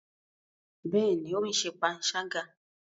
Bẹẹni, o n ṣe panṣaga